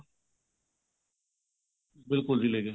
ਬਿਲਕੁਲ ਜੀ ਲੈ ਗਏ